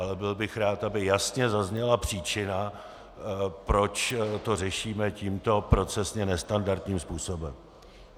Ale byl bych rád, aby jasně zazněla příčina, proč to řešíme tímto procesně nestandardním způsobem.